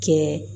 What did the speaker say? Kɛ